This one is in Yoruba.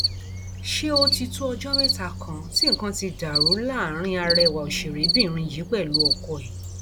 ṣé ó ti tó ọjọ mẹta kan tí nǹkan ti dàrú láàrin àrẹwà òṣèrébìnrin yìí pẹlú ọkọ ẹ